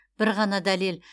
бір ғана дәлел